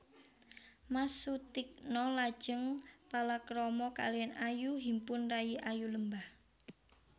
Mas Sutikna lajeng palakrama kaliyan Ayu Himpun rayi Ayu Lembah